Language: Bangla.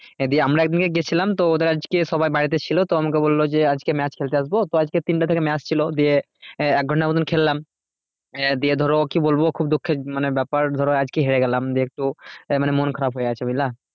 দিয়ে আমরা এক দিনকে গিয়েছিলাম তো ওদের আজকে সবাই বাড়িতে ছিল তো আমাকে বললো যে আজকে match খেলতে আসবো তো আজকে তিনটে থেকে match ছিল দিয়ে আহ এক ঘন্টা মতো খেললাম আহ দিয়ে ধরো কি বলবো খুব দুঃখের মানে ব্যাপার ধরো আজকে হেরে গেলাম দিয়ে একটু আহ মানে মন খারাপ হয়ে আছে বুঝলে?